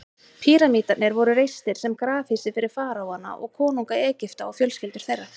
Píramídarnir voru reistir sem grafhýsi fyrir faraóana, konunga Egypta, og fjölskyldur þeirra.